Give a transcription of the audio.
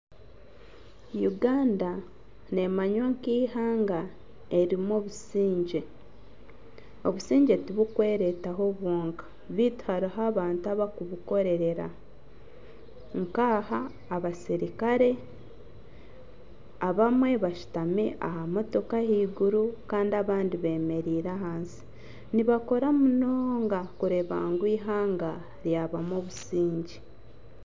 Uganda nemanywa nk'eihanga eririmu obusingye . Obusingye tibukweretaho bwonka baitu hariho abantu abakubukorerera nka abasirikare abamwe bashutami aha motoka ah'eiguru Kandi abandi bemereire ahansi nibakora munonga kureba ngu eihanga ryabamu obusingye.